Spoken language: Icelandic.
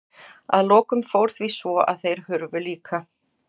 Að lokum fór því svo að þeir hurfu líka.